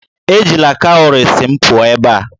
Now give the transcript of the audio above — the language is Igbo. Ejila cowries m pụọ ebe a!